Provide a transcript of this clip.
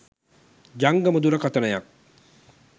ජංගම දුරකතනයක්.